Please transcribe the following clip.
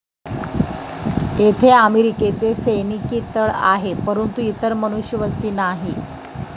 येथे अमेरिकेचा सैनिकी तळ आहे परंतु इतर मनुष्यवस्ती नाही.